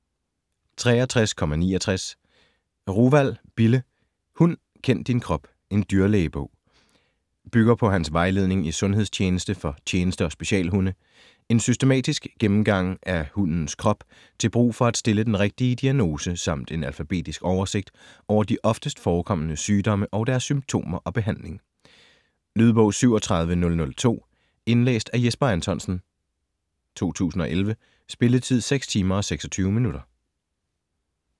63.69 Ruwald, Bille: Hund kend din krop: en dyrlægebog Bygger på hans vejledning i sundhedstjeneste for tjeneste- og specialhunde. En systematisk gennemgang af hundens krop til brug for at stille den rigtige diagnose samt en alfabetisk oversigt over de oftest forekommende sygdomme og deres symptomer og behandling. Lydbog 37002 Indlæst af Jesper Anthonsen, 2011. Spilletid: 6 timer, 26 minutter.